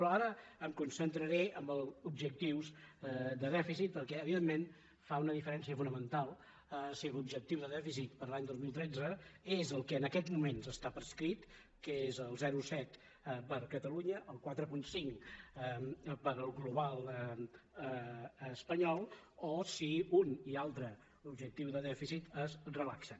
però ara em concentraré en els objectius de dèficit perquè evidentment fa una diferència fonamental si l’objectiu de dèficit per a l’any dos mil tretze és el que en aquests moments està prescrit que és el zero coma set per a catalunya el quatre coma cinc per al global espanyol o si un i altre objectiu de dèficit es relaxen